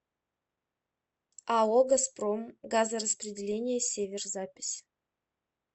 ао газпром газораспределение север запись